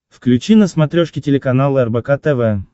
включи на смотрешке телеканал рбк тв